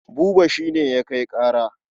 Buba shi ne ya kai ƙara.